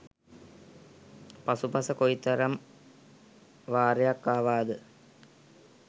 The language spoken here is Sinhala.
පසුපස කොයිතරම් වාරයක් ආවාද?